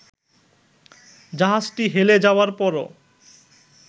জাহাজটি হেলে যাওয়ার পরও